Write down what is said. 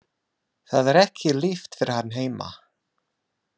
Það er ekki líft fyrir hann heima.